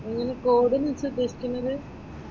നീ കോഡിന്ന് വെച്ച് ഉദ്ദേശിക്കുന്നത്?